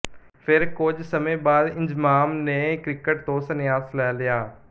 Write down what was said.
ਫਿਰ ਕੁਝ ਸਮੇਂ ਬਾਅਦ ਇੰਜ਼ਮਾਮ ਨੇ ਕ੍ਰਿਕਟ ਤੋਂ ਸੰਨਿਆਸ ਲੈ ਲਿਆ